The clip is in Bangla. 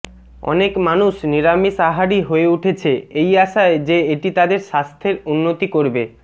অনেক মানুষ নিরামিষ আহারী হয়ে উঠেছে এই আশায় যে এটি তাদের স্বাস্থ্যের উন্নতি করবে